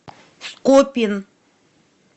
скопин